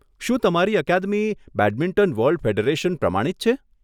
શું તમારી academy badminton world federation પ્રમાણિત છે?